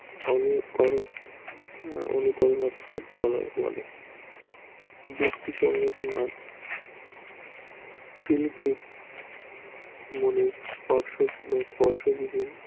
অনুকরণ অনুকরণ বলে যুক্তি সঙ্গত না শিল্পীর মনে স্পর্শ বিশিষ্ট